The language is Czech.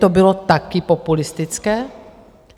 To bylo taky populistické?